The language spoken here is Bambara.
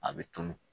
A bɛ tunun